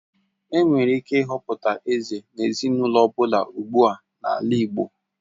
Enwere ike ịhọpụta eze n'ezinaụlọ ọ bụla ugbua n'ala igbo.